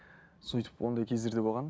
сөйтіп ондай кездер де болған